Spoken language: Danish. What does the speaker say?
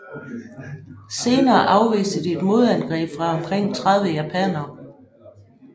Senere afviste de et modangreb fra omkring 30 japanere